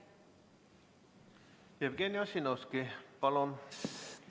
Jevgeni Ossinovski, palun!